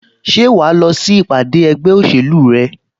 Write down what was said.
Ṣé wà á lọ sí ìpàdé ẹgbẹ́ òṣèlú rẹ?